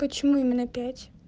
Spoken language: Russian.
почему именно пять